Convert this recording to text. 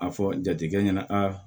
A fɔ jatigikɛ ɲɛna a